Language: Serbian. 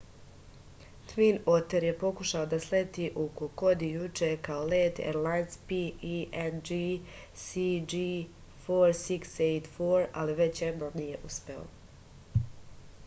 tvin oter je pokušavao da sleti u kokodi juče kao let erlajns png cg4684 ali već jednom nije uspeo